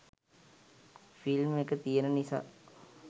film එක තියෙන නිසා